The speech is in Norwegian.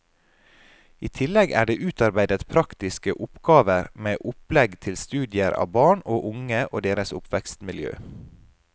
I tillegg er det utarbeidet praktiske oppgaver med opplegg til studier av barn og unge og deres oppvekstmiljø.